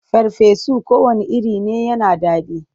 Farfesu kowanne iri ne yana da daɗi.